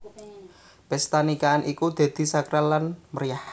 Pesta nikahan iku dadi sakral lan meriyah